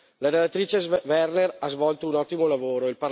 La relatrice Werner ha svolto un ottimo lavoro.